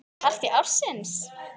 Partí ársins?